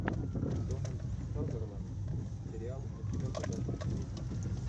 дональд сазерленд сериал у тебя в загашнике есть